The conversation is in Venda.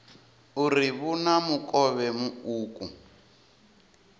uri vhu na mukovhe muuku